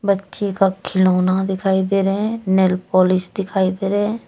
बच्चे का खिलौना दिखाई दे रहे हैं नेल पॉलिश दिखाई दे रहे हैं।